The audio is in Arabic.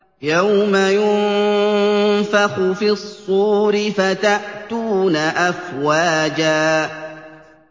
يَوْمَ يُنفَخُ فِي الصُّورِ فَتَأْتُونَ أَفْوَاجًا